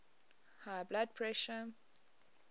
high blood pressure